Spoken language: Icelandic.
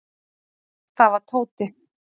Það var Tóti.